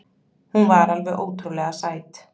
Hún var alveg ótrúlega sæt.